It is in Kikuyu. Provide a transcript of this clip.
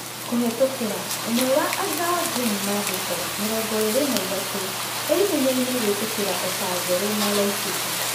(kũhetũkĩra) ũmwe wa Angao Jim Mandĩko, mĩrongoĩrĩ na ĩtatu, e-ihenyainĩ gũĩtĩkĩra oba njerũ na Laiceta.